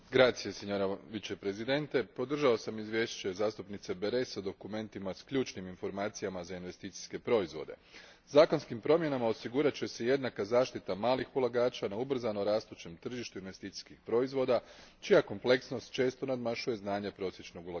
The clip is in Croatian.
Gospođo predsjednice, podržao sam izvješće zastupnice Berès o dokumentima s ključnim informacijama za investicijske proizvode. Zakonskim promjenama osigurat će se jednaka zaštita malih ulagača na ubrzano rastućem tržištu investicijskih proizvoda čija kompleksnost često nadmašuje znanje prosječnog ulagača.